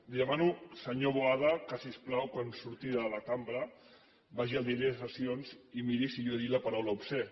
li demano senyor boada que si us plau quan surti de la cambra vagi al diari de sessions i miri si jo he dit la paraula obscè